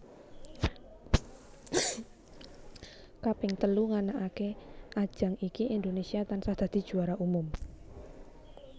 Kaping telu nganakake ajang iki Indonésia tansah dadi juara umum